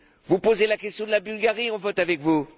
Vous posez la question de la Bulgarie, nous votons avec vous.